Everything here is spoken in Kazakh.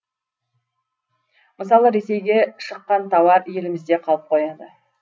мысалы ресейге шыққан тауар елімізде қалып қояды